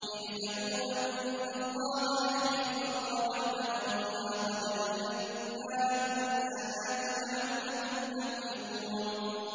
اعْلَمُوا أَنَّ اللَّهَ يُحْيِي الْأَرْضَ بَعْدَ مَوْتِهَا ۚ قَدْ بَيَّنَّا لَكُمُ الْآيَاتِ لَعَلَّكُمْ تَعْقِلُونَ